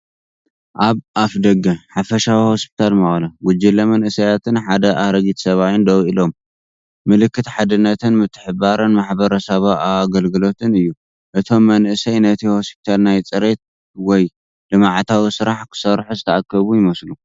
ኣብ ኣፍደገ "ሓፈሻዊ ሆስፒታል መቐለ" ጉጅለ መንእሰያትን ሓደ ኣረጊት ሰብኣይን ደው ኢሎም። ምልክት ሓድነትን ምትሕብባርን ማሕበረሰባዊ ኣገልግሎትን እዩ። እቶም መናእሰይ ነቲ ሆስፒታል ናይ ፅሬት ወይ ልምዓታዊ ስራሕ ክሰርሑ ዝተኣከቡ ይመስሉ።